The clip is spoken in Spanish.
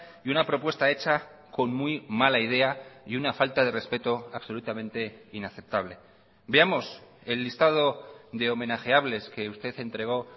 y una propuesta hecha con muy mala idea y una falta de respeto absolutamente inaceptable veamos el listado de homenajeables que usted entregó